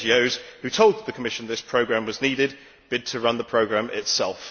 the NGOs who told the Commission this programme was needed bid to run the programme itself.